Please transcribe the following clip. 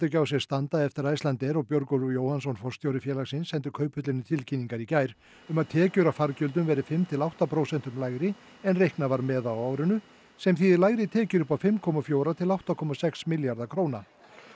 ekki á sér standa eftir að Icelandair og Björgólfur Jóhannsson forstjóri félagsins sendu Kauphöllinni tilkynningar í gær um að tekjur af fargjöldum verði fimm til átta prósentum lægri en reiknað var með á árinu sem þýðir lægri tekjur upp á fimm komma fjögur til átta komma sex milljarða króna